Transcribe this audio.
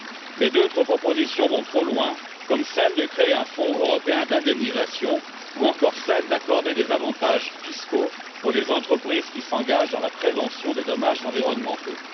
Mais d'autres propositions vont trop loin, comme celle de créer un fonds européen d'indemnisation ou encore celle d'accorder des avantages fiscaux aux entreprises qui s'engagent dans la prévention des dommages environnementaux.